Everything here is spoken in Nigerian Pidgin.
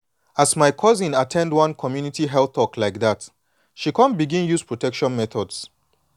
as my cousin at ten d one community health talk like that she come begin use protection methods